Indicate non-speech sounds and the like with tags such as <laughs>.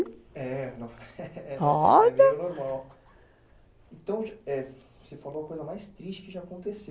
É, <laughs> olha, então, você falou a coisa mais triste que já aconteceu,